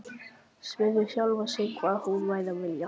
Spurði sjálfan sig hvað hún væri að vilja.